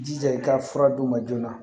I jija i ka fura d'u ma joona